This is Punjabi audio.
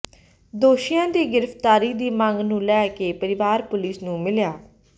ਦੋਸ਼ੀਆਂ ਦੀ ਗਿ੍ਫ਼ਤਾਰੀ ਦੀ ਮੰਗ ਨੂੰ ਲੈ ਕੇ ਪਰਿਵਾਰ ਪੁਲਿਸ ਨੂੰ ਮਿਲਿਆ